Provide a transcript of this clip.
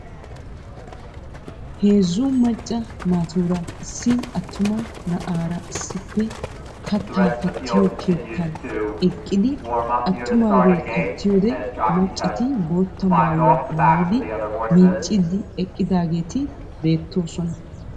Heezzu macca naatuura issi attuma na'aara issippe kattaa kattiyo keettan eqqidi attumaagee kattiyode maccati bootta maayuwa maayidi miicciiddi eqqidageeti beettoosona.